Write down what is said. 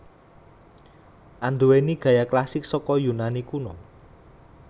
Anduwèni gaya klasik saka Yunani Kuna